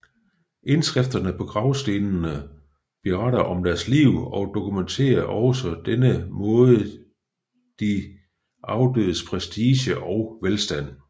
Indskrifterne på gravstenene beretter om deres liv og dokumenterer på denne måde de afdødes prestige og velstand